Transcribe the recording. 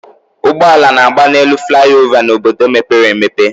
Ụgbọala na-agba n'elu flaị ova n'obodo mepere emepe